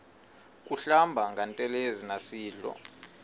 kuhlamba ngantelezi nasidlo